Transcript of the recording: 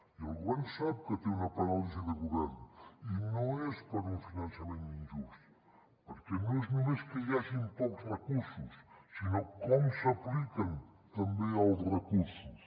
i el govern sap que té una paràlisi de govern i no és per un finançament injust perquè no és només que hi hagin pocs recursos sinó com s’apliquen també els recursos